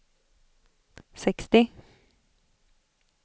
sextio